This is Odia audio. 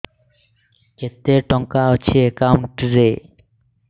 କେତେ ଟଙ୍କା ଅଛି ଏକାଉଣ୍ଟ୍ ରେ